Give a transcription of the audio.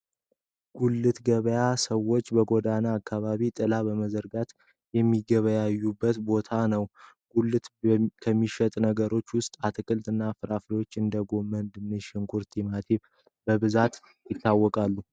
ጉልት ገበያ ሰወች በጎዳና አካባቢ ጥላ በመዘርጋ የሚገበያዩበት ቦታ ነው። ጉልት ከሚሸጡ ነገሮች ውስጥ አትክልት እና ፍራፍሬዎች እንደ ጎመን፣ ድንች፣ ሽንኩርት፣ ቲማቲም በብዛት ይታወቃሉ።